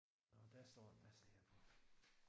Nåh der står en masse herpå